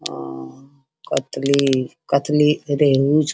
आ कतली कतली रेहु ज --